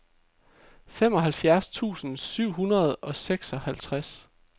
femoghalvfjerds tusind syv hundrede og seksoghalvtreds